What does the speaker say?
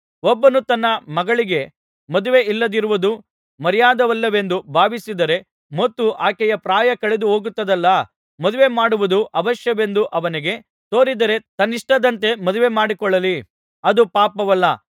ಒಬ್ಬನು ತನ್ನ ಮಗಳಿಗೆ ಮದುವೆಯಿಲ್ಲದಿರುವುದು ಮರ್ಯಾದೆಯಲ್ಲವೆಂದು ಭಾವಿಸಿದರೆ ಮತ್ತು ಆಕೆಯ ಪ್ರಾಯ ಕಳೆದುಹೋಗುತ್ತದಲ್ಲಾ ಮದುವೆಮಾಡುವುದು ಅವಶ್ಯವೆಂದು ಅವನಿಗೆ ತೋರಿದರೆ ತನ್ನಿಷ್ಟದಂತೆ ಮದುವೆ ಮಾಡಿಕೊಡಲಿ ಅದು ಪಾಪವಲ್ಲ